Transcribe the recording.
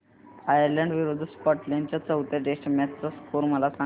Ireland विरूद्ध Scotland च्या चौथ्या टेस्ट मॅच चा स्कोर मला सांगना